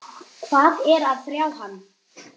Hvað er að hrjá hann?